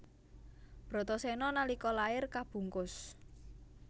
Bratasena nalika lair kabungkus